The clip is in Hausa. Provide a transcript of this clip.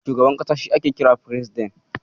Shugaban ƙasa shi ake kira Firesiden.